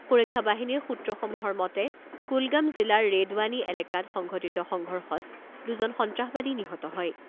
সুৰক্ষা বাহিনীৰ সূত্ৰসমূহৰ মতে কুলগাম জিলাৰ ৰেডৱানি এলেকাত সংঘটিত সংঘৰ্ষত দুজন সন্ত্ৰাসবাদী নিহত হয়।